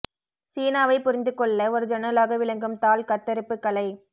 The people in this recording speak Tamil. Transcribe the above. சீனாவைப் புரிந்து கொள்ள ஒரு ஜன்னலாக விளங்கும் தாள் கத்தரிப்பு கலை